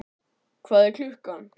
Hvað er klukkan?